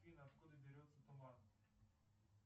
афина откуда берется туман